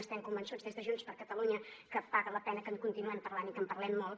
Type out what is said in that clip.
estem convençuts des de junts per catalunya que paga la pena que en continuem parlant i que en parlem molt